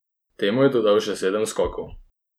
Temu je dodal še sedem skokov.